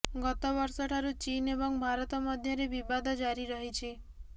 ଗତ ବର୍ଷଠାରୁ ଚୀନ୍ ଏବଂ ଭାରତ ମଧ୍ୟରେ ବିବାଦ ଜାରି ରହିଛି